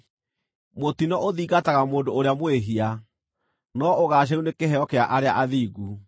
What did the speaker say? Mũtino ũthingataga mũndũ ũrĩa mwĩhia, no ũgaacĩru nĩ kĩheo kĩa arĩa athingu.